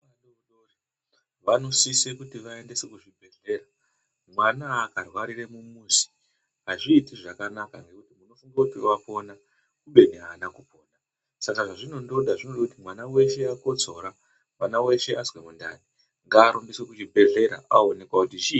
Vana vanosisirwe kuendeswe kuzvibhedhlera. Mwana akarwarira mumuzi azviiti zvakanaka ngekuti unofunge kuti apona kubeni aana kupona. Saka zvazvinondoda zvinoda kuti mwana weshe akotsora, mwana weshe azwe mundani ngaaendeswe kuchibhedhlera aoonekwa kuti chiini.